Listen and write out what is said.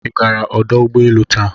Ị gara ọdụ ụgbọ elu taa?